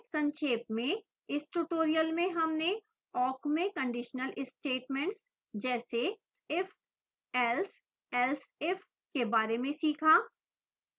संक्षेप में इस tutorial में हमने awk में conditional statements जैसे if else else if के बारे में सीखा